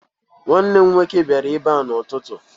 Nnwanne m nwoke bịara ebe a n'ụtụtụ.